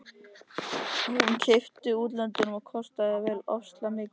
Hún var keypt í útlöndum og kostaði alveg ofsalega mikið.